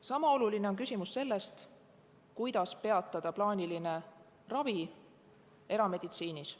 Sama oluline on küsimus sellest, kuidas peatada plaaniline ravi erameditsiinis.